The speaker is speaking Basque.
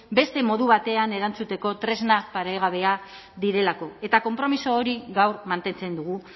beste modu batean erantzuteko tresna paregabea direlako eta konpromiso hori gaur mantentzen dugu